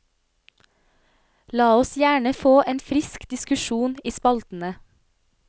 La oss gjerne få en frisk diskusjon i spaltene.